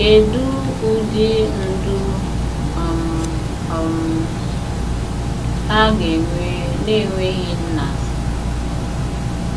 Kedu ụdị ndụ um um ha ga-enwe n'enweghị nna?